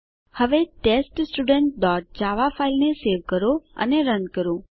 હવે test student dot java ફાઈલને save અને રન કરો